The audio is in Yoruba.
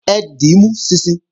Ẹ dímú níìsín!